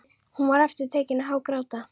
Hún var aftur tekin að hágráta.